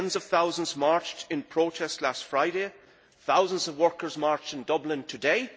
Tens of thousands marched in protest last Friday thousands of workers marched in Dublin today